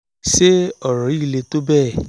ṣé ọ̀rọ̀ yìí le tó bẹ́ẹ̀?